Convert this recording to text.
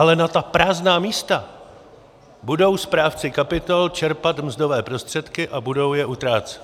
Ale na ta prázdná místa budou správci kapitol čerpat mzdové prostředky a budou je utrácet.